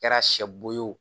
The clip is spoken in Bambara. Kɛra sɛ bo ye o